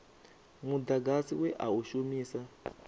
mudagasi we a u shumisa